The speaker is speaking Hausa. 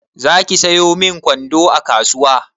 Zaki sayo min kwando a kasuwa?